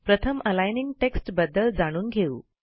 प्रथम aligning text बद्दल जाणून घेऊ